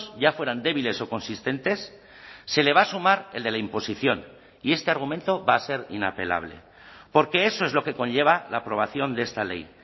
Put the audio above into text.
ya fueran débiles o consistentes se le va a sumar el de la imposición y este argumento va a ser inapelable porque eso es lo que conlleva la aprobación de esta ley